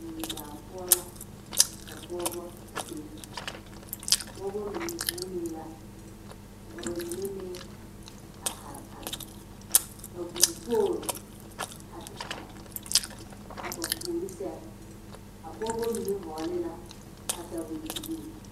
Mui baa poɔ la ka pɔgeba a be a pɔgeba mine vuunee la ka ba mine meŋ a are are ka vuu pool a te are a ba puori sɛŋ a pɔgeba mine vɔgle la katawɛbilii